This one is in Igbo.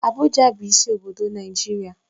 Abuja bụ isi obodo Naijiria